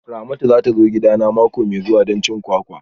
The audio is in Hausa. Ramatu za ta zo gidana mako mai zuwa don cin kwakwa